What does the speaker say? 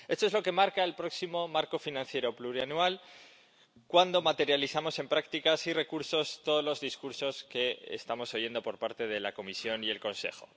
Esto es lo que marca el próximo marco financiero plurianual cuando materializamos en prácticas y recursos todos los discursos que estamos oyendo por parte de la Comisión y el Consejo.